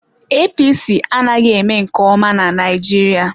APC anaghị eme nke ọma na Naịjirịa.